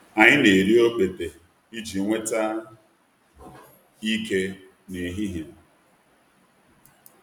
Anyị na-eri okpete iji nweta ike n’ehihie.